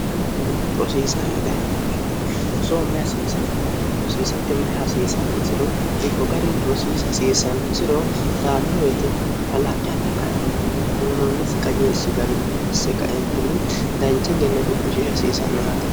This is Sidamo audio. aarantino rosiisara dayanno beete rosoo mayi hasiisannora rosiisatti mayi hasiisanmosiro diifo garini rosiisa hasiisannosiro dayanno beete mafalaaqi adhe kaeentinni uunoonnisi qajeelshi garinasse kaeentinni dancha genna cu'mishishi hasiisannoraate